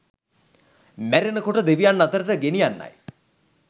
මැරෙන කොට දෙවියන් අතරට ගෙනියන්නයි.